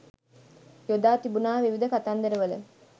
යොදා තිබුණා විවිධ කතන්දරවල.